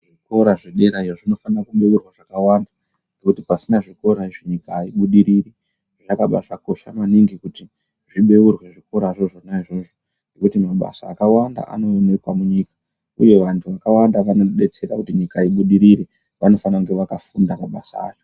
Zvikora zvederayo zvinofana kubourwa zvakawanda ngekuti pasina zvikora izvi nyika haibudiriri zvakabakosha maningi kuti zvibourwe zvikorazvo zvona izvozvo ngekuti mabasa akawanda anooneka munyika uye vantu vakwanda vanotidetsera kuti nyika ibudirire vanofane kunge vakafunda mabasa acho.